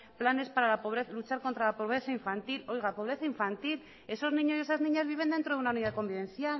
planes para luchar contra la pobreza infantil oiga pobreza infantil esos niños y esas niñas viven dentro de una unidad convivencial